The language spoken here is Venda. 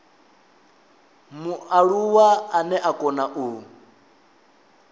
mualuwa ane a kona u